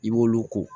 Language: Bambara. I b'olu ko